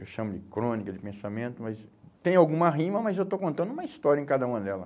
Eu chamo de crônica de pensamento, mas tem alguma rima, mas eu estou contando uma história em cada uma dela.